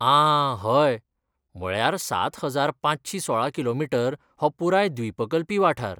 आं हय! म्हळ्यार सात हजार पांचशी सोळा किलोमीटर हो पुराय द्वीपकल्पी वाठार.